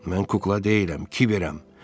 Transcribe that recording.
Mən kukla deyiləm, Kiberəm.